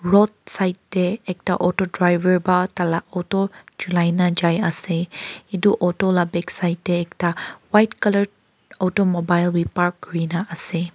roadside te ekta auto driver ba taila auto chulaina jai ase etu auto la backside te ekta white colour automobile bi park kurina ase.